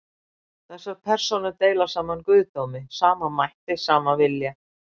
Þessar persónur deila sama guðdómi, sama mætti, sama vilja.